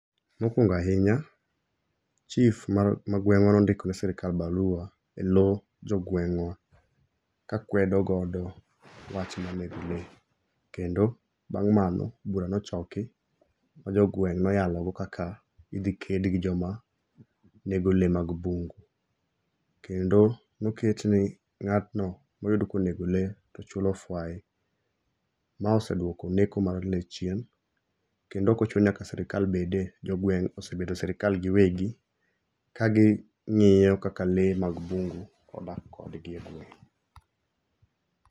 Mokuongo' ahinya chief ma gweng'wa nondiko ne sirikal barua e low jogweng'wa ka kwedo godo wach mar nego le kendo bang' mano idwa ni ochoki ma jogweng' noyalogodo kaka ithiked gi joma nego le mag mbugu, kendo noketni nga'tno ma ne oyud ka enego le to chulo fwai, ma oseduoko neko mar le chien , kendo okochuno ni sirikal bede, jogueng' osebede sirikal giwegi, ka gi ngi'yo kaka le mag mbugu odak kodgi e gweng'